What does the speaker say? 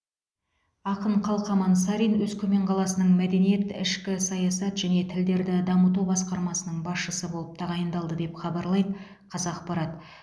ақын қалқаман сарин өскемен қаласының мәдениет ішкі саясат және тілдерді дамыту басқармасының басшысы болып тағайындалды деп хабарлайды қазақпарат